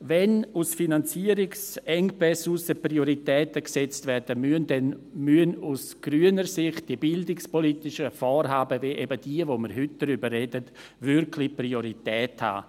Wenn aus Finanzierungsengpässen heraus Prioritäten gesetzt werden müssen, dann müssen die bildungspolitischen Vorhaben – wie eben jene, über die wir heute sprechen – aus grüner Sicht wirklich Priorität haben.